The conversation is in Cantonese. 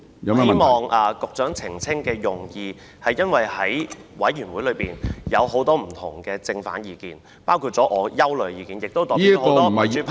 我希望局長澄清的用意，是因為委員會中有很多不同的正、反意見，包括我的憂慮，亦代表了很多民主派......